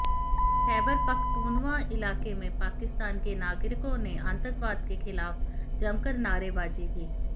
खैबर पख्तूनवां इलाके में पाकिस्तान के नागरिकों ने आतंकवाद के खिलाफ जमकर नारेबाजी की